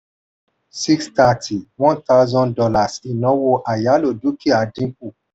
six hundred and thirty one thousand dollars inawo ayálò dúkìá dín kù.